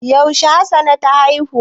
Yaushe hassana ta haihu?